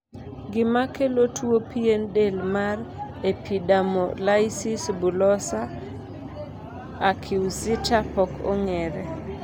gima kelo tuo pien del mar epidermolysis bullosa acquisita pok ong'ere